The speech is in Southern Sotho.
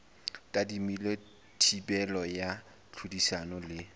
tadimilwe thibelo ya tlhodisano le